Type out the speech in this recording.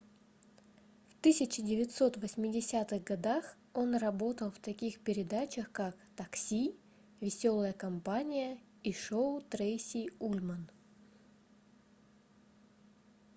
в 1980-х годах он работал в таких передачах как такси веселая компания и шоу трейси ульман